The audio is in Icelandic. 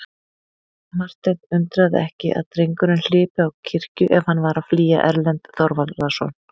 Martein undraði ekki að drengurinn hlypi á kirkju ef hann var að flýja Erlend Þorvarðarson.